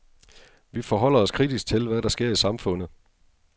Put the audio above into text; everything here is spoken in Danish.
Vi forholder os kritisk til, hvad der sker i samfundet.